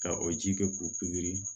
Ka o ji kɛ k'u pikiri